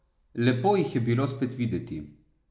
Lepo jih je bilo spet videti.